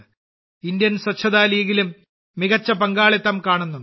Indian സ്വച്ഛത ലീഗിലും മികച്ച പങ്കാളിത്തം കാണുന്നുണ്ട്